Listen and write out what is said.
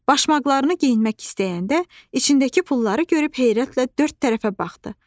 Başmaqlarını geyinmək istəyəndə içindəki pulları görüb heyrətlə dörd tərəfə baxdı.